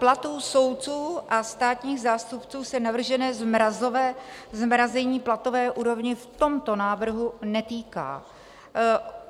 Platů soudců a státních zástupců se navržené zmrazení platové úrovně v tomto návrhu netýká.